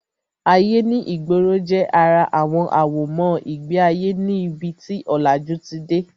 Ayé ní ìgboro jẹ́ ara àwọn àwọ̀mọ́ ìgbé ayé ní ibi tí ọ̀làjú ti dé